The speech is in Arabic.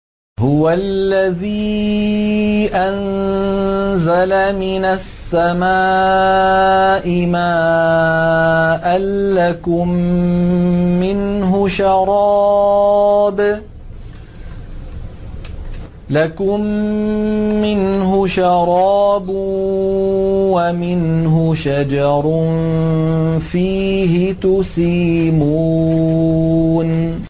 هُوَ الَّذِي أَنزَلَ مِنَ السَّمَاءِ مَاءً ۖ لَّكُم مِّنْهُ شَرَابٌ وَمِنْهُ شَجَرٌ فِيهِ تُسِيمُونَ